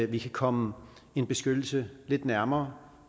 vi kan komme en beskyttelse lidt nærmere